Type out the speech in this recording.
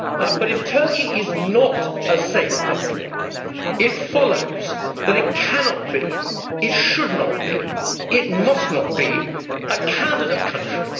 But if Turkey is not a safe country, it follows that it cannot, should not and must not be a candidate country.